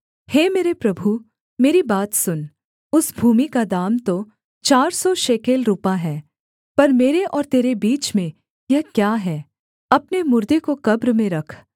हे मेरे प्रभु मेरी बात सुन उस भूमि का दाम तो चार सौ शेकेल रूपा है पर मेरे और तेरे बीच में यह क्या है अपने मुर्दे को कब्र में रख